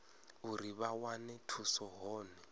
uri vha wane thuso hone